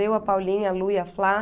Eu, a Paulinha, a Lu e a Flá.